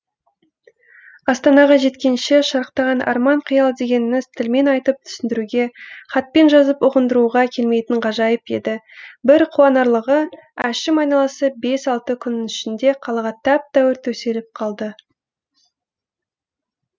астанаға жеткенше шарықтаған арман қиял дегеніңіз тілмен айтып түсіндіруге хатпен жазып ұғындыруға келмейтін ғажайып еді бір қуанарлығы әшім айналасы бес алты күннің ішінде қалаға тәп тәуір төселіп қалды